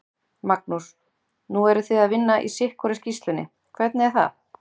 Magnús: Nú eruð þið að vinna í sitthvorri sýslunni, hvernig er það?